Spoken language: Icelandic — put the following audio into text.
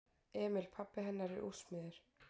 Emil pabbi hennar er úrsmiður.